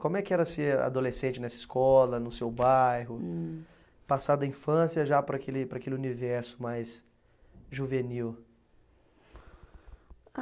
Como é que era ser adolescente nessa escola, no seu bairro. Hum. Passar da infância já para aquele, para aquele universo mais juvenil? Ah